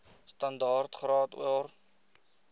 standaard graad or